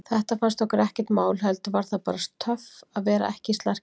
Þetta fannst okkur ekkert mál, heldur var það bara töff að vera í slarkinu.